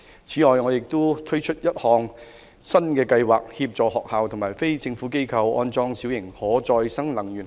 此外，我們會推出一項新計劃，協助學校和非政府機構安裝小型可再生能源系統。